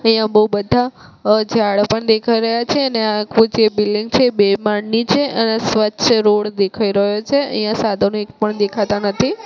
અહીંયા બો બધા ઝાડ અ પણ દેખાય રહ્યા છે અને આખુ જે બિલ્ડીંગ છે એ બે માળની છે અન આ સ્વચ્છ રોડ દેખાય રહ્યો છે અહીંયા સાધનો એક પણ દેખાતા નથી. "